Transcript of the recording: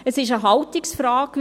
Es ist eine Haltungsfrage.